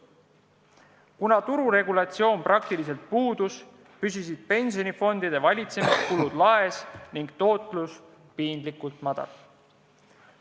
Kuna tururegulatsioon praktiliselt puudus, püsisid pensionifondide valitsemiskulud laes ning tootlus piinlikult väike.